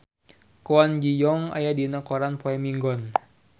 Kwon Ji Yong aya dina koran poe Minggon